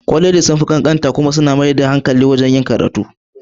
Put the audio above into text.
Kwalejin sun fi ƙanƙanta kuma suna mai da hankali kan takamaiman yanki na karatu.